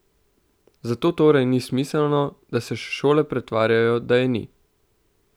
Zatorej ni smiselno, da se šole pretvarjajo, da je ni.